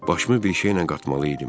Başımı bir şeylə qatmalı idim.